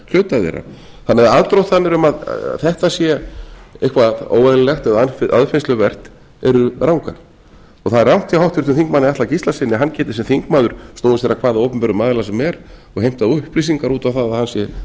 hluta þeirra þannig að aðdróttanir um að þetta sé eitthvað óeðlilegt eða aðfinnsluvert eru rangar og það er rangt hjá háttvirtum þingmanni atla gíslasyni að hann geti sem þingmaður snúið sér að hvaða opinberum aðila sem er og heimtað upplýsingar út á það að hann sé